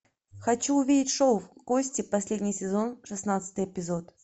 хочу увидеть шоу кости последний сезон шестнадцатый эпизод